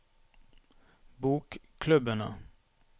bokklubbene